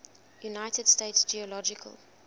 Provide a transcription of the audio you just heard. united states geological